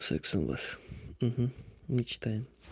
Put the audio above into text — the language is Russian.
секс у нас мечтаем